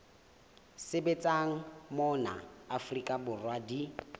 sebetsang mona afrika borwa di